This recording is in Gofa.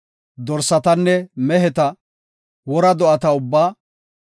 Dorsatanne meheta, wora do7ata ubbaa,